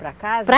Para casa? Para